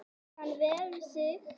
Kann vel við sig